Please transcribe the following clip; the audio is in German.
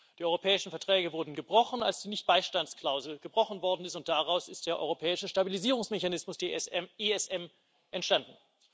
Die europäischen Verträge wurden gebrochen, als die Nichtbeistandsklausel gebrochen worden ist, und daraus ist der europäische Stabilisierungsmechanismus ESM entstanden.